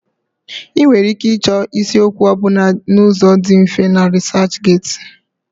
Ị nwere ike ịchọ isiokwu ọ bụla n'ụzọ dị mfe na RịsaachGeti.